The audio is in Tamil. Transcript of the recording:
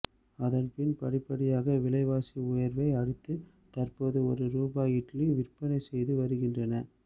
அதன்பின் படிப்படியாக விலைவாசி உயர்வை அடுத்து தற்போது ஒரு ரூபாய்க்கு இட்லி விற்பனை செய்து வருகின்றனர்